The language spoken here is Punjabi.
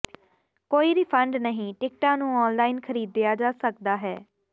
ਕੋਈ ਰਿਫੰਡ ਨਹੀਂ ਟਿਕਟਾਂ ਨੂੰ ਆਨਲਾਈਨ ਖਰੀਦਿਆ ਜਾ ਸਕਦਾ ਹੈ